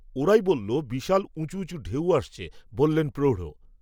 ওরাই বলল বিশাল উঁচু উঁচু ঢেউ আসছে বললেল প্রৌঢ়